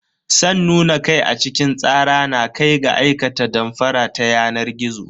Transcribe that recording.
San nuna kai a cikin tsara na kai ga aikata damfara ta yanar gizo.